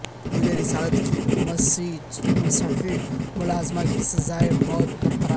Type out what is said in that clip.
توہین رسالت کی مسیحی ملزمہ کی سزائے موت برقرار